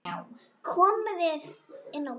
Komið þið inn á bað.